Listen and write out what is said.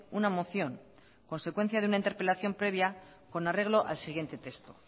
una moción consecuencia de una interpelación previa con arreglo al siguiente texto